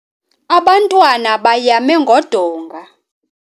Abantwana bayame ngodonga.